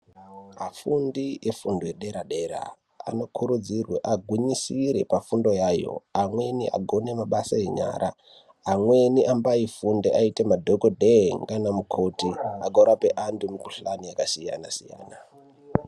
Afundi efundo yedera-dera anokurudzirwe agwinyisire pafundo yayo. Amweni agone mabasa enyara, amweni ambaifunde aite madhogodhee naana mukoti agorape antu mukuhlani yakasiyana-siyana.